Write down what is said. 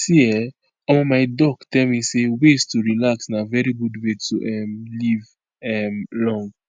see[um]omo my doc tell me say ways to relax na very good way to um live um long.